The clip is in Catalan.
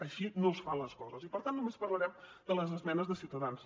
així no es fan les coses i per tant només parlarem de les esmenes de ciutadans